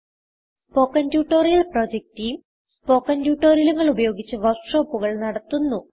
spoken tutorial project team spoken ട്യൂട്ടോറിയലുകൾ ഉപയോഗിച്ച് work ഷോപ്പുകൾ നടത്തുന്നു